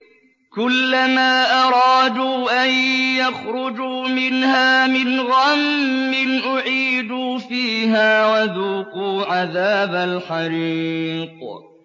كُلَّمَا أَرَادُوا أَن يَخْرُجُوا مِنْهَا مِنْ غَمٍّ أُعِيدُوا فِيهَا وَذُوقُوا عَذَابَ الْحَرِيقِ